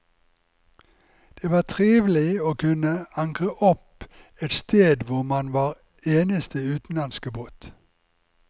Det var trivelig å kunne ankre opp et sted hvor man var eneste utenlandske båt.